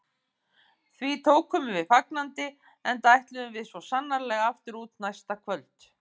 Því tókum við fagnandi, enda ætluðum við svo sannarlega aftur út næsta kvöld.